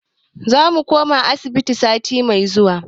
Za mu koma asibiti sati mai zuwa.